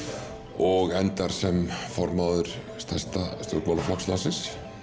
og endar sem formaður stærsta stjórnmálaflokks landsins